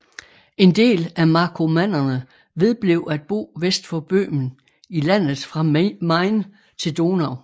En del af markomannerne vedblev at bo vest for Böhmen i landet fra Main til Donau